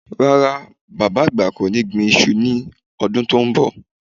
Rárá, Bàbá àgbà kò ní gbin iṣu ní ọdún tó ń bọ̀